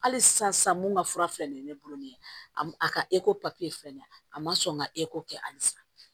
Hali sisan sisan mun ka fura filɛ nin ye ne bolo nin ye a ka filɛ nin ye a ma sɔn ka kɛ halisa